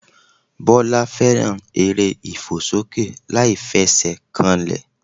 Bọ́lá fẹ́ràn eré ìfòsókè láìfesèkanlè